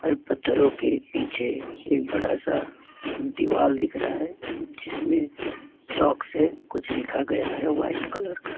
और पत्थरों के पीछे एक बड़ा सा दीवाल दिख रहा है जिसमें चौक से कुछ लिखा गया है वाइट कलर का।